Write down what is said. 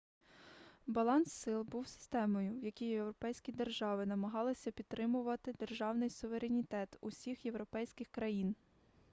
баланс сил був системою в якій європейські держави намагалися підтримувати державний суверенітет усіх європейських країн